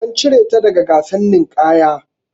An cire ta daga gasar ninƙaya.